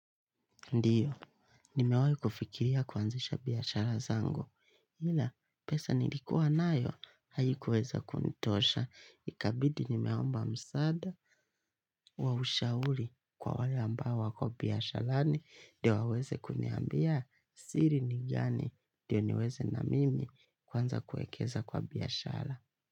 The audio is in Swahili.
Ndiyo, nimewai kufikiria kuanzisha biashara zangu, ila pesa nilikuwa nayo haikuweza kunitosha, ikabidi nimeomba msaada wa ushauri kwa wale ambao wako biasharani ndio waweze kuniambia siri ni gani ndio niweze na mimi kuanza kuekeza kwa biashara.